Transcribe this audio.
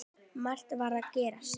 Margt var að gerast.